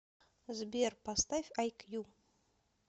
сбер поставь ай кью